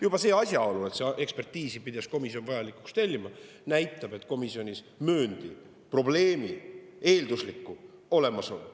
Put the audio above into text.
Juba see asjaolu, et seda ekspertiisi pidas komisjon vajalikuks tellida, näitab, et komisjonis mööndi probleemi eelduslikku olemasolu.